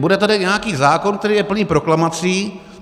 Bude tady nějaký zákon, který je plný proklamací.